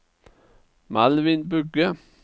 Malvin Bugge